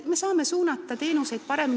Me saame teenuseid paremini suunata.